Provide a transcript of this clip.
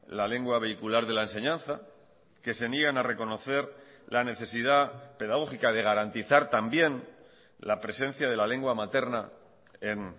la lengua vehicular de la enseñanza que se niegan a reconocer la necesidad pedagógica de garantizar también la presencia de la lengua materna en